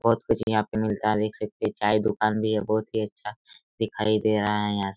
बहुत कुछ यहाँ पे मिलता हैं देख सकते हैं चाय दुकान भी हैं बहुत ही अच्छा दिखाई दे रहा हैं यहाँ से--